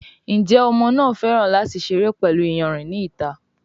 Njé Ọmọ náa fè láti seré pẹlú iyanrìn ní ìta?